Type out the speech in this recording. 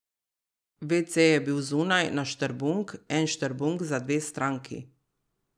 Vece je bil zunaj, na štrbunk, en štrbunk za dve stranki.